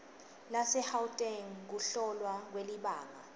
lasegauteng kuhlolwa kwelibanga